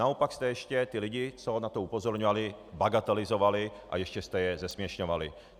Naopak jste ještě ty lidi, co na to upozorňovali, bagatelizovali a ještě jste je zesměšňovali.